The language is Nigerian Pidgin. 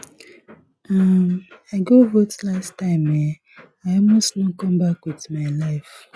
um i go vote last time eh i almost no come back with my life